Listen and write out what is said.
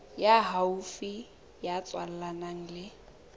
ya haufi ya tswalanang le